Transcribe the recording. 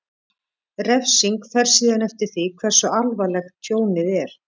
Refsing fer síðan eftir því hversu alvarlegt tjónið er.